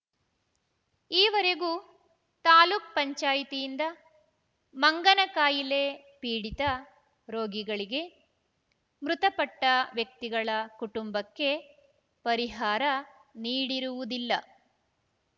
ಈವರೆಗೂ ತಾಲೂಕ್ ಪಂಚಾಯೆತಿ ಯಿಂದ ಮಂಗನ ಕಾಯಿಲೆ ಪೀಡಿತ ರೋಗಿಗಳಿಗೆ ಮೃತಪಟ್ಟವ್ಯಕ್ತಿಗಳ ಕುಟುಂಬಕ್ಕೆ ಪರಿಹಾರ ನೀಡಿರುವುದಿಲ್ಲ